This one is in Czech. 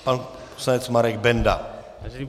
Pan poslanec Marek Benda.